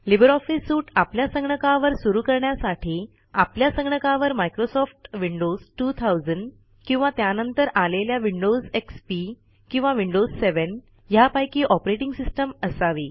Libre office suite आपल्या संगणकावर सुरू करण्यासाठी आपल्या संगणकावर मायक्रोसॉफ्ट विंडोज 2000 किंवा त्यानंतर आलेल्या विंडोज एक्सपी किंवा विंडोज7 ह्यापैकी ऑपरेटिंग सिस्टम असावी